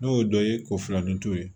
N'o ye dɔ ye k'o filannin t'o ye